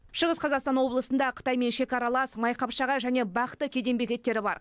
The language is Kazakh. шығыс қазақстан облысында қытаймен шекаралас майқапшағай және бақты кеден бекеттері бар